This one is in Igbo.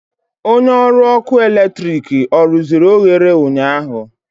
Onye ọrụ ọkụ eletrik ọ rụziri oghere ụnyaahụ?